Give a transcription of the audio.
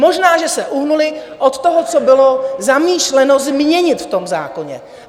Možná že se uhnuli od toho, co bylo zamýšleno změnit v tom zákoně.